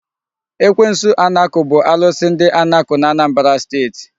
Ekwensu Anakụ bụ alụsị ndị Anakụ n'Anambra steeti.